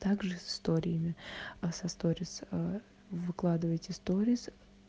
также с историями а со сторис выкладываете сторис